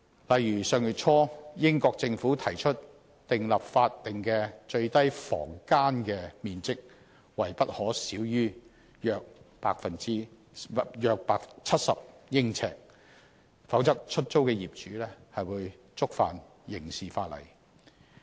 例如，英國政府上月初提出訂立法定的最低房間面積為不可小於約70呎，否則出租的業主將觸犯刑事法例。